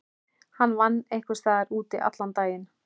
Hann vann einhvers staðar úti allan daginn.